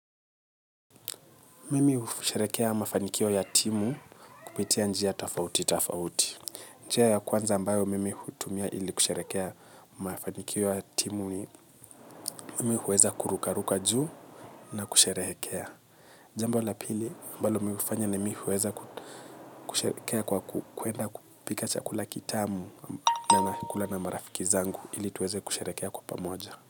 Mimi hmafanikio ya timu kupitia njia tafauti tafauti. Njia ya kwanza ambayo mimi kutumia ili kusherekea mafanikio ya timu ni mimi huweza kurukaruka juu na kusherekea. Jamba la pili mbalo mifanya ni mimi huweza kusherekea kwa kuenda pika chakula kitamu na ya kula na marafiki zangu ili tuweze kusherekea kwa pamoja.